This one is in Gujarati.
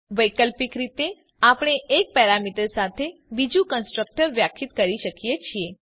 વૈકલ્પિક રીતે આપણે એક પેરામીટર સાથે બીજું કન્સ્ટ્રક્ટર વ્યાખ્યાયિત કરી શકીએ છીએ